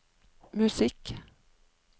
musikk